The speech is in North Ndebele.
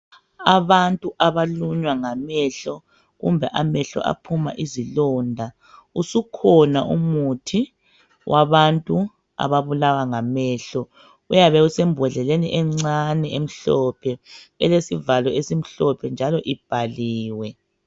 Abantu abalunywa ngamehlo kumbe amahlo aphuma izilonda usukhona umuthi wabantu ababulawa ngamehlo uyabe usembodleleni encani emhlophe elesivalo esimhlophe njalo ubhaliwe